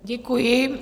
Děkuji.